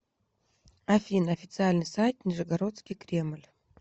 афина официальный сайт нижегородский кремль